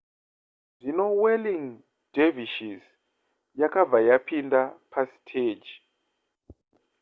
zvino whirling dervishes yakabva yapinda pasiteji